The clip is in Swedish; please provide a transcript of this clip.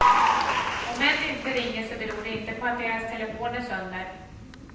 Om män inte ringer så beror det inte på att deras telefon är sönder.